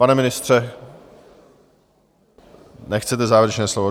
Pane ministře, nechcete závěrečné slovo?